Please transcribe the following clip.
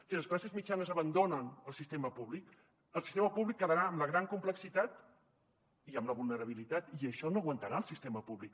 si les classes mitjanes abandonen el sistema públic el sistema públic quedarà amb la gran complexitat i amb la vulnerabilitat i això no ho aguantarà el sistema públic